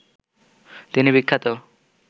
তিনি বিখ্যাত